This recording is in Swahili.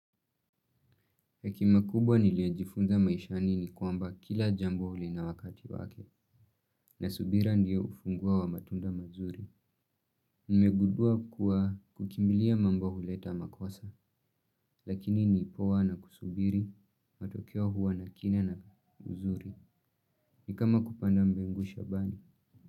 Hekima kubwa niliyojifunza maishani ni kwamba kila jambo lina wakati wake na subira ndiyo ufunguo wa matunda mazuri. Nimegundua kuwa kukimbilia mambo huleta makosa lakini ni poa na kusubiri, matokeo huwa na kina na uzuri. Ni kama kupanda mbegu shambani.